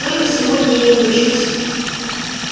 только сегодня я не хочу с